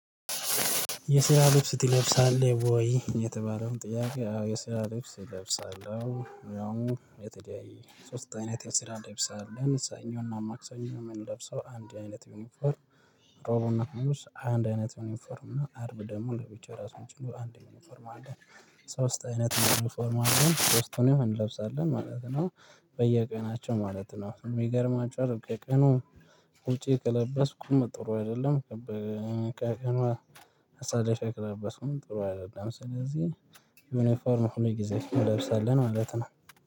የስራ ልብስ ትለብሳለህ ወይ? የተባለውን ጥያቄ አዎ የስራ ልብስ እለብሳለሁ ያው የተለያየ ሶስት አይነት የስራ ልብስ አለን ሰኞ እና ማክሰኞ ምንለብሰው አንድ አይነት ዩኒፎርም ሮቡ እና ሀሙስ አንድ አይነት ዩኒፎርም እና አርብ ደሞ ለብቻ ራሱን ችሎ አንድ ዩኒፎርም አለ። ሶስት አይነት ዩኒፎርም አለን ሶስቱን እንለብሳለን ማለት ነው። በየቀናቸው ማለት ነው የሚገርም አጭር ከቀኑ ውጪ ከለበስኩም ጥሩ አይደለም። ከቀኑ አሳልፌ ከለበስክኩም ጥሩ አይደለም። ስለዚህ ዩኒፎርም ሁሉ ጊዜ እንለብሳለን ማለት ነው